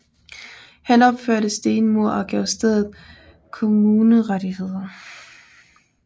Han opførte stenmure og gav stedet kommunerettigheder